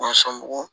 sɔngɔ